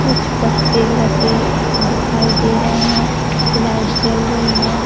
कुछ पत्ते लते दिखाई दे रहे हैं लाइट जल रही है।